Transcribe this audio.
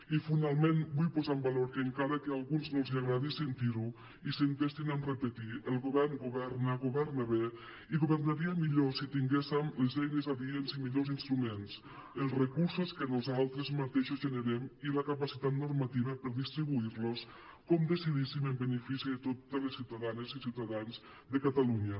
i finalment vull posar en valor que encara que a alguns no els agradi sentir ho i s’entestin a repetir ho el govern governa governa bé i governaria millor si tinguéssem les eines adients i millors instruments els recursos que nosaltres mateixos generem i la capacitat normativa per a distribuir los com decidíssim en benefici de totes les ciutadanes i ciutadans de catalunya